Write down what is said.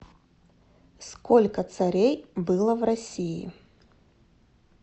сколько царей было в россии